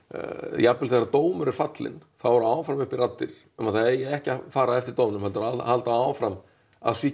jafnvel þegar dómur er fallinn þá eru áfram uppi raddir um að það eigi ekki að fara eftir dómnum heldur að halda áfram að svíkja